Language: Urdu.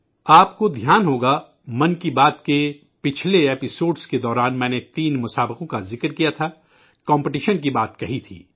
آپ کو یاد ہوگا ں کہ 'من کی بات' کی گزشتہ قسط کے دوران میں نے تین مقابلوں کا ذکر کیا تھا، کمپٹیشن کی بات کہی تھی